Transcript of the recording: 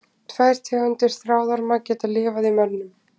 Tvær tegundir þráðorma geta lifað í mönnum.